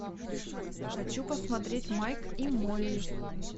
хочу посмотреть майк и молли